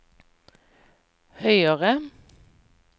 høyere